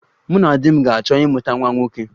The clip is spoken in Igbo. Mụ na di m ga-achọ ịmụta nwa nwoke